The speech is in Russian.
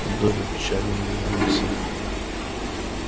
добби печально улыбнулся